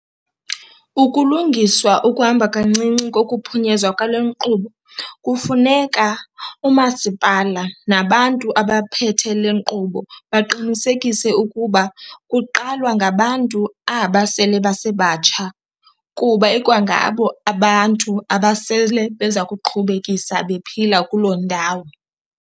Ukulungiswa ukuhamba kancinci kokuphunyezwa kwale nkqubo kufuneka umasipala nabantu abaphethe le nkqubo baqinisekise ukuba kuqalwa ngabantu aba sele basebatsha kuba ikwangabo abantu abasele beza kuqhubekisa bephila kuloo ndawo.